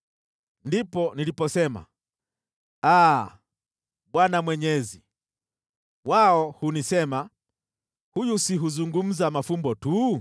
Ndipo niliposema, “Aa, Bwana Mwenyezi! Wao hunisema, ‘Huyu si huzungumza mafumbo tu?’ ”